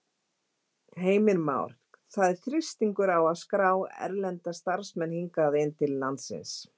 Heimir Már: Það er þrýstingur á að skrá erlenda starfsmenn hingað inn til landsins?